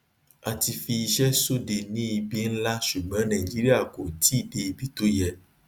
a ti fi iṣẹ sóde ní ibi ńlá ṣùgbọn naìjíríà kò tíì dé ibi tó yẹ